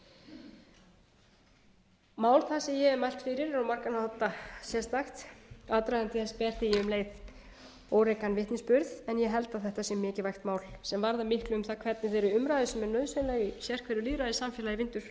sem ég hef mælt fyrir er á margan máta sérstakt aðdragandi þess ber því um leið órækan vitnisburð en ég held að þetta sé mikilvægt mál sem varðar miklu um það hvernig þeirri umræðu sem er nauðsynleg í sérhverju lýðræðissamfélagi vindur fram ég átta mig líka